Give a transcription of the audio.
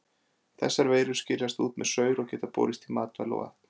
Þessar veirur skiljast út með saur og geta borist í matvæli og vatn.